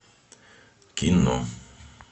кино